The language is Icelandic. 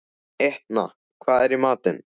Etna, hvað er í matinn?